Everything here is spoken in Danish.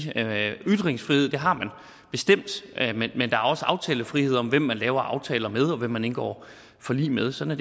ytringsfrihed har man bestemt men der er også aftalefrihed om hvem man laver aftaler med og hvem man indgår forlig med sådan